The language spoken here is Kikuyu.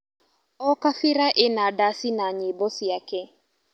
O kabira ĩna ndaci na nyĩmbo ciake.